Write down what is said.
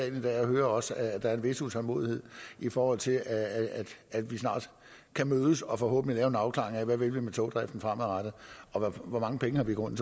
i dag og hører også at der er en vis utålmodighed i forhold til at at vi snart kan mødes og forhåbentlig lave en afklaring af hvad vi vil med togdriften fremadrettet og hvor mange penge vi i grunden